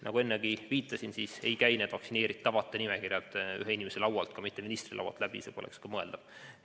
Nagu ennegi viitasin, ei käi vaktsineeritavate nimekirjad ühe inimese laualt, ka mitte ministri laualt läbi, see poleks mõeldav.